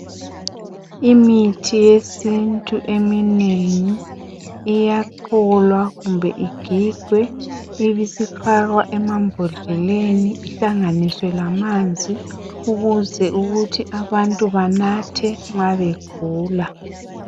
Imithi yesintu eminengi iyacholwa kumbe igigwe ibisifakwa emambodleleni ihlanganiswe lamanzi ukuze ukuthi abantu banathe nxa begula.